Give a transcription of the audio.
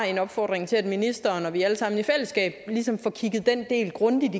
en opfordring til ministeren til at vi alle sammen i fællesskab får kigget den del grundigt